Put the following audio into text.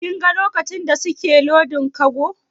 Kin ga lokacin da suke lodin kago?